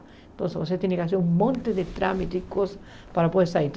Então você tem que fazer um monte de trâmites e coisas para poder sair.